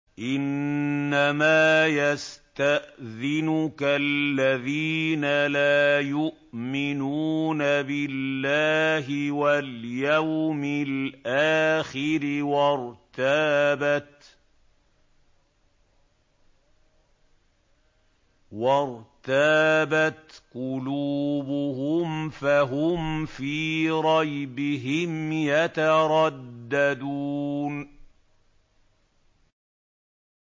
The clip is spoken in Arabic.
إِنَّمَا يَسْتَأْذِنُكَ الَّذِينَ لَا يُؤْمِنُونَ بِاللَّهِ وَالْيَوْمِ الْآخِرِ وَارْتَابَتْ قُلُوبُهُمْ فَهُمْ فِي رَيْبِهِمْ يَتَرَدَّدُونَ